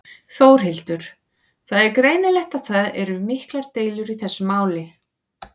Þórhildur: Það er greinilegt að það eru miklar deilur í þessu máli?